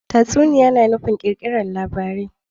Tatsuniya na nufin kirkirar labarai